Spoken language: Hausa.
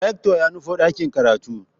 Rector ya nufo dakin karatu.